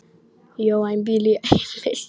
Mér liggur mikið á!